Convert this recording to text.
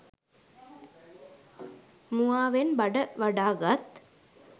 මුවාවෙන් බඩ වඩාගත්